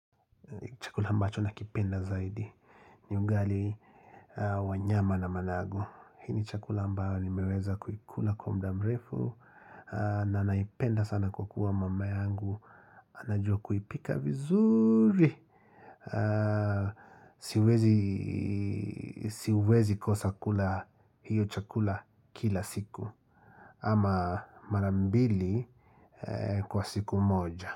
Chakula ambacho nakipenda zaidi. Ni ugali wa nyama na managu. Hii ni chakula ambao nimeweza kuikula kwa muda mrefu. Na naipenda sana kwa kuwa mama yangu. Anajua kuipka vizuri. Siwezi kosa kula hiyo chakula kila siku. Ama marambili kwa siku moja.